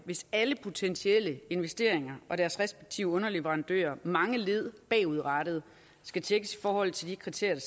hvis alle potentielle investeringer og deres respektive underleverandører mange led bagudrettet skal tjekkes i forhold til de kriterier